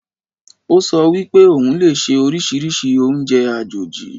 Ó sọ wípé òun lè se oríṣiríṣi oúnjẹ àjòjì